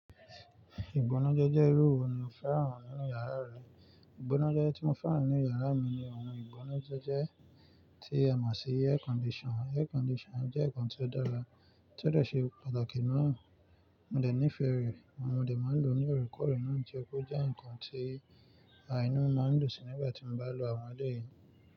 Ìgbónájé jẹ́ irú ohun ni mo fẹ́ràn nínú yàrá rẹ. Ìgbónájé tí mo fẹ́ràn nínú yàrá mi ni ohun ìgbónájé tí a mọ̀ sí air condition. Air condition jẹ́ nǹkan tí ó dára, tí ó de ṣe pàtàkì náà. Mo dẹ̀ nífẹ̀ẹ́ rẹ̀, mo de máa ń lò ó ní òrekore náà tí ó jẹ́ pé ó jẹ́ nǹkan tí àìní máa ń dùnsì nígbà tí mo bá lò àwọn eleui.